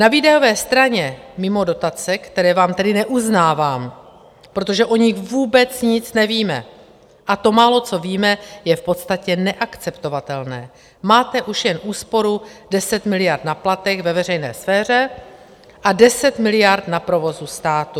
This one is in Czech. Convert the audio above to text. Na výdajové straně mimo dotace, které vám tedy neuznávám, protože o nich vůbec nic nevíme, a to málo, co víme, je v podstatě neakceptovatelné, máte už jen úsporu 10 miliard na platech ve veřejné sféře a 10 miliard na provozu státu.